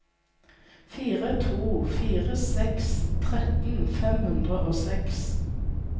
fire to fire seks tretten fem hundre og seks